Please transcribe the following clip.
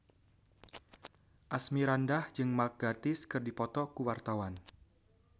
Asmirandah jeung Mark Gatiss keur dipoto ku wartawan